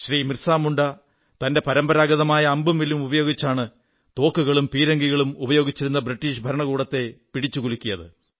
ബിർസാ മുണ്ടാ തന്റെ പരമ്പരാഗതമായ അമ്പും വില്ലും ഉപയോഗിച്ചാണ് തോക്കുകളും പീരങ്കികളും ഉപയോഗിച്ചിരുന്ന ഇംഗ്ലീഷ് ഭരണത്തെ പിടിച്ചു കുലുക്കിയത്